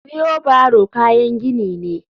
Wheeo barrow kayan gini ne.